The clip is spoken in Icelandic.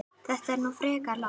Þetta er nú frekar lágt